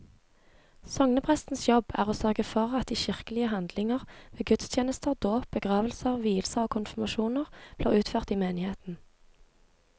Sogneprestens jobb er å sørge for at de kirkelige handlinger ved gudstjenester, dåp, begravelser, vielser og konfirmasjoner blir utført i menigheten.